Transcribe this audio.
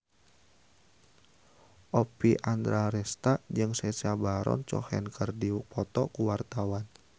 Oppie Andaresta jeung Sacha Baron Cohen keur dipoto ku wartawan